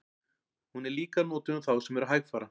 Hún er líka notuð um þá sem eru hægfara.